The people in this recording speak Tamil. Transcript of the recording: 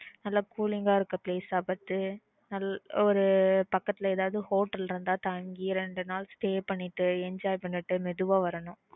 நல்ல cooling இருக்க place பாத்து ஒரு பக்கத்துல ஏதாவது hotel இருந்த தங்கி இரண்டு நாள் stay பண்ணிட்டு enjoy பண்ணிட்டு மெதுவா வரணும்